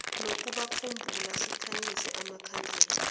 nokubakhumbula sikhanyisa amakhandlela